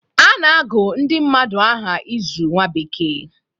A na-agụ ndị mmadụ aha ịzụ nwa bekee